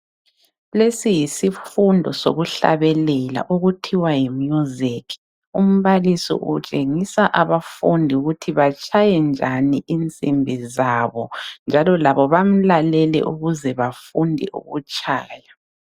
Lesi yisifundo sokuhlabelela okuthiwa yimusic. Umbalisi utshengisa abafundi ukuthi batshaye njani insimbi zabo njalo labo bamlalele ukuze bafunde ukutshaya.